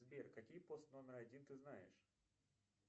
сбер какие пост номер один ты знаешь